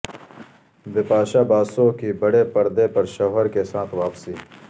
بپاشا باسو کی بڑے پردے پر شوہر کے ساتھ واپسی